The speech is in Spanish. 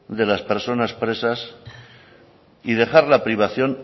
de las personas presas y dejar la privación